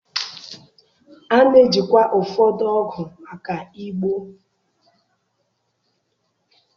A na-ejikwa ụfọdụ ọgụ maka igbo.